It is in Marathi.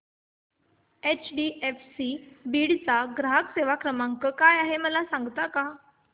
एचडीएफसी बीड चा ग्राहक सेवा क्रमांक काय आहे मला सांगता का